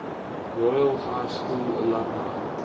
royal high school alumni